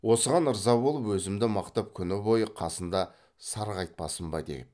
осыған ырза болып өзімді мақтап күні бойы қасында сарғайтпасын ба деу